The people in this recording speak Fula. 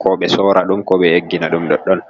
Ko ɓe sora ɗum, ko ɓe eggina ɗum ɗoɗɗon.